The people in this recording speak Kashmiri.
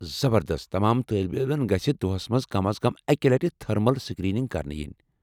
زبردست! تمام طالب علمن گژھہِ دۄہَس مَنٛز کم از کم اکہِ لٹہِ تھرمل سکریننگ کرنہٕ یِنۍ ۔